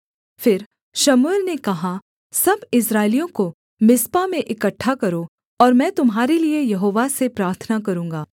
फिर शमूएल ने कहा सब इस्राएलियों को मिस्पा में इकट्ठा करो और मैं तुम्हारे लिये यहोवा से प्रार्थना करूँगा